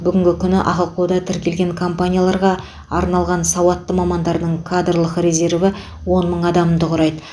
бүгінгі күні ахқо да тіркелген компанияларға арналған сауатты мамандардың кадрлық резерві он мың адамды құрайды